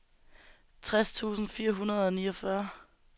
tres tusind fire hundrede og niogfyrre